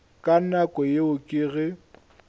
ka nako yeo ke ge